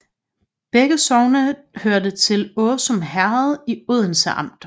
Begge sogne hørte til Åsum Herred i Odense Amt